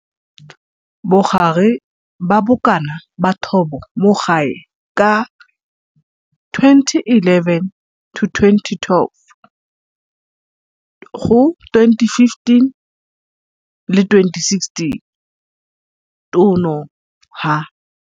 Bogare ba bokana ba thobo mo gae ka 2011, 2012 go 2015, 2016, tono, ha.